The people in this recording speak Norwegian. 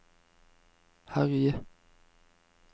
herje